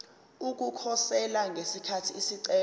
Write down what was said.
ukukhosela ngesikhathi isicelo